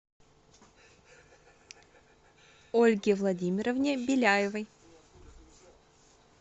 ольге владимировне беляевой